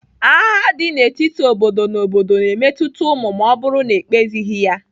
Agha dị n'etiti obodo na obodo na-emetụta ụmụ ma ọ bụrụ na ekpezighi ya.